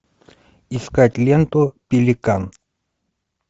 искать ленту пеликан